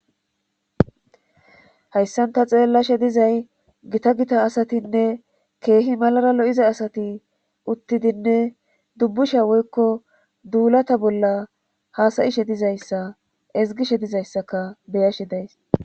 Hayssanta xeellashe dizay gita gita asatinne keehi malara lo7iza asati uttidinne dubbusha woykko duulata bolla haasayishe dizayssa ezgishe dizayssaka beyashi days